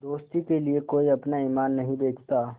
दोस्ती के लिए कोई अपना ईमान नहीं बेचता